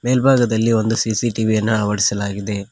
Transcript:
ಮೇಲ್ಭಾಗದಲ್ಲಿ ಒಂದು ಸಿ_ಸಿ_ಟಿ_ವಿ ಅನ್ನ ಅಳವಡಿಸಲಾಗಿದೆ.